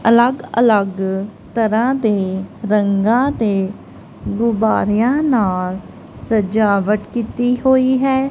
ਅਲੱਗ ਅਲੱਗ ਤਰਹਾਂ ਦੇ ਰੰਗਾਂ ਦੇ ਗੁੱਬਾਰਿਆਂ ਨਾਲ ਸਜਾਵਟ ਕੀਤੀ ਹੋਈ ਹੈ।